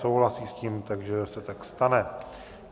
Souhlasí s tím, takže se tak stane.